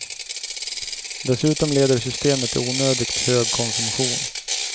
Dessutom leder systemet till onödigt hög konsumtion.